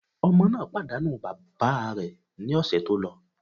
Ọmọ náà pàdánù bàbá rẹ̀ ní ọ̀sẹ̀ tó lọ.